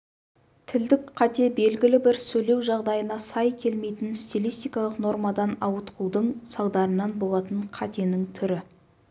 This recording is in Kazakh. тілдік қате белгілі бір сөйлеу жағдайына сай келмейтін стилистикалық нормадан ауытқудың салдарынан болатын қатенің түрі